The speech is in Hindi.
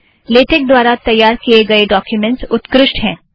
लेटेक द्वारा तैयार किए गए डॊक्युमेंट्स उत्कृष्ठ हैं